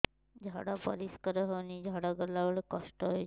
ଝାଡା ପରିସ୍କାର ହେଉନି ଝାଡ଼ା ଗଲା ବେଳେ କଷ୍ଟ ହେଉଚି